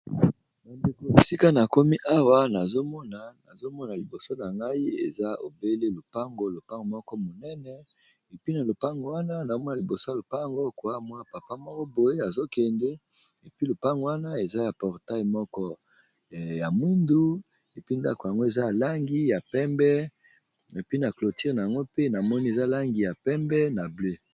Ba ndeko esika na komi awa nazomona nazomona liboso na ngai eza obele lopango lopango moko monene epi na lopango wana nazomona liboso ya lopango koa mwa papa moko boye azo kende epi lopango wana eza ya portail moko ya mwindu epi ndako yango eza langi ya pembe epi na clotire yango pe namoni eza langi ya pembe na bleu.